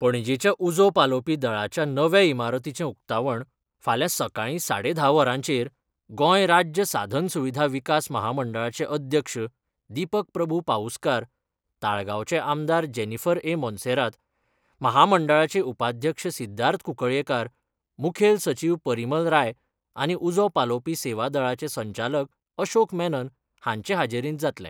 पणजेच्या उजो पालोवपी दळाच्या नवे इमारतीचें उकतावण फाल्यां सकळी साडे धा वरांचेर गोंय राज्य साधन सुविधा विकास महामंडळाचे अध्यक्ष दीपक प्रभू पाऊसकार, ताळगांवचे आमदार जेनीफर ए मोन्सेरात, म्हामंडळाचे उपाध्यक्ष सिद्धार्थ कुंकळयेंकार, मुखेल सचीव परीमल राय आनी उजो पालोवपी सेवा दळाचे संचालक अशोक मेनन हांचे हाजेरींत जातलें.